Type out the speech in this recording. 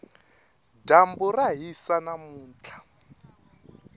dyambu ra hisa namuntlha